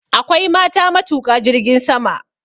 Akwai mata matuƙa jirgin sama.